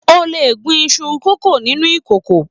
O le gún iṣu kókó nínú ìkòkò.